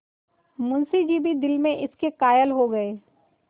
मुंशी जी भी दिल में इसके कायल हो गये